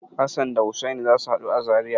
Hassan da Hussani za su haɗu a Zariya.